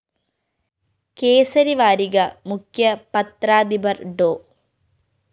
കേസരി വാരിക മുഖ്യ പത്രാധിപര്‍ ഡോ